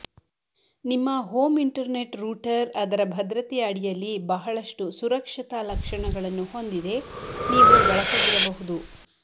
ನಿಮ್ಮ home internet router ಅದರ ಭದ್ರತೆಯ ಅಡಿಯಲ್ಲಿ ಬಹಳಷ್ಟು ಸುರಕ್ಷತಾ ಲಕ್ಷಣಗಳನ್ನು ಹೊಂದಿದೆ ನೀವು ಬಳಸದಿರಬಹುದು